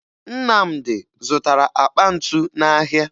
Nnamdị zụtara akpa ntu n'ahịa